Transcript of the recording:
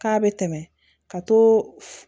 K'a bɛ tɛmɛ ka to